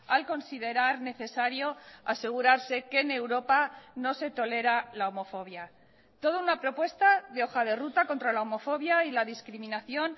al considerar necesario asegurarse que en europa no se tolera la homofobia toda una propuesta de hoja de ruta contra la homofobia y la discriminación